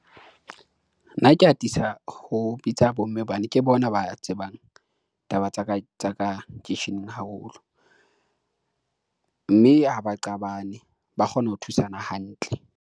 Nna ke atisa ho bitsa bomme hobane ke bona ba tsebang taba ka tsa kisheneng haholo mme ha ba qabane ba kgona ho thusana hantle.